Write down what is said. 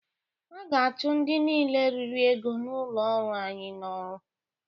A ga-achụ ndị niile riri ego n'ụlọ ọrụ anyị n'ọrụ.